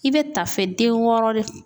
I bɛ ta fɛ den wɔɔrɔ de